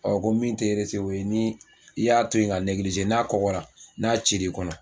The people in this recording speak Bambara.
ko min tɛ o ye ni i y'a to yen ka n'a kɔgɔra, n'a cir'i kɔnɔ.